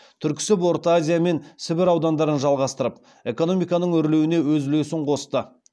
түрксіб орта азия мен сібір аудандарын жалғастырып экономиканың өрлеуіне өз үлесін қосты